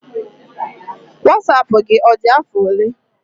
Wasapụ gị, ọ dị afọ ole?